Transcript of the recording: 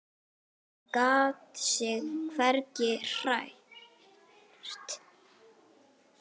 Hún gat sig hvergi hrært.